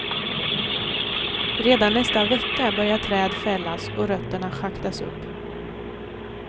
Redan nästa vecka börjar träd fällas och rötterna schaktas upp.